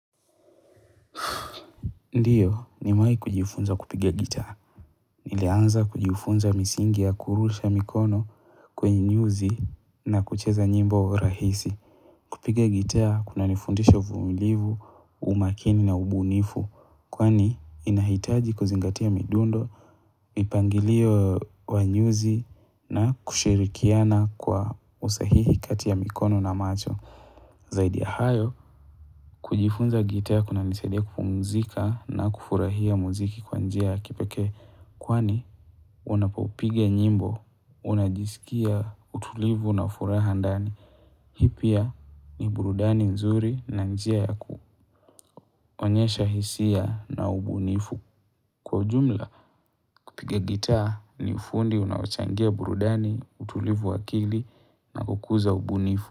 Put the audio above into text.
Ndiyo, nimewahi kujifunza kupigia gitaa. Nilianza kujifunza misingi ya kurusha mikono kwenye nyuzi na kucheza nyimbo rahisi. Kupiga gitaa kuna nifundisha uvumilivu, umakini na ubunifu. Kwani inahitaji kuzingatia midundo, mipangilio wa nyuzi na kushirikiana kwa usahihi kati ya mikono na macho. Zaidi ya hayo, kujifunza gitaa kuna nisadia kupumzika na kufurahia muziki kwa njia ya kipekee kwani unapopiga nyimbo, unajisikia utulivu na furaha ndani. Hii pia ni burudani nzuri na njia ya kuonyesha hisia na ubunifu. Kwa ujumla, kupiga gitaa ni ufundi unaochangia burudani, utulivu wa akili na kukuza ubunifu.